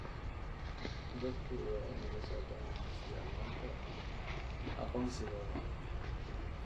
Dadku waa inay la socdaan isticmaalka aqoonsigooda.